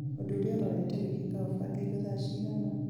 ũndũ ũrĩa ũrorete gwĩkĩka ũbangĩirwo thaa cigana